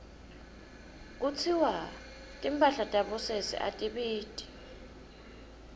kutsiwa timphahla tabosesi atibiti